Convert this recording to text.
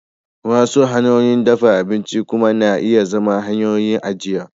Wasu hanyoyin dafa abinci kuma na iya zama hanyoyin ajiya